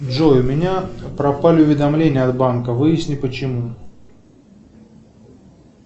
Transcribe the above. джой у меня пропали уведомления от банка выясни почему